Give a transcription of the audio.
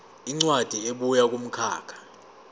incwadi ebuya kumkhakha